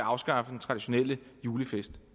afskaffe den traditionelle julefest